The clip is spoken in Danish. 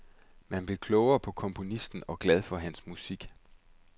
Man blev klogere på komponisten og glad for hans musik.